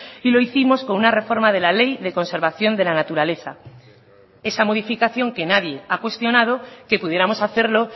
y lo hicimos con una reforma de la ley de conservación de la naturaleza esa modificación que nadie ha cuestionado que pudiéramos hacerlo